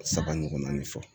Saba ɲɔgɔnna fɔ